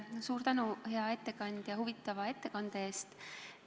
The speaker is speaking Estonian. Suur tänu, hea ettekandja, huvitava ettekande eest!